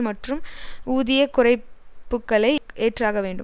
மற்றும் ஊதிய குறைப்புக்களை ஏற்றாக வேண்டும்